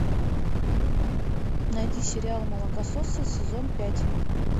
найди сериал молокососы сезон пять